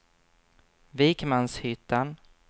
Vikmanshyttan